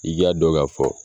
I k'a dɔ ka fɔ